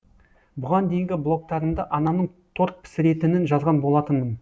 бұған дейінгі блогтарымда анамның торт пісіретінін жазған болатынмын